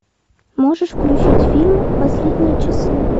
можешь включить фильм последние часы